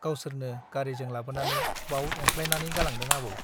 गावसोरनो गारीजों लाबोनानै बाव एंख्लायनानै गालांदों आबौ ।